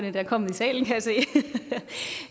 endda kommet i salen kan